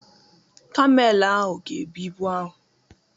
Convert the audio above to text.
Kamel ahụ ga-ebu ibu ahụ.